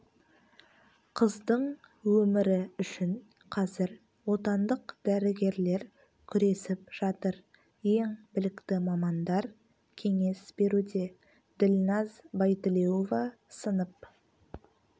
қыздың өмірі үшін қазір отандық дәрігерлер күресіп жатыр ең білікті мамандар кеңес беруде ділназ байтілеуова сынып